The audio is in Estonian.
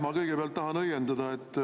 Ma kõigepealt tahan õiendada.